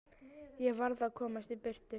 Ég varð að komast í burtu.